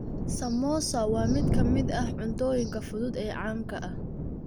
Samosa waa mid ka mid ah cuntooyinka fudud ee caanka ah.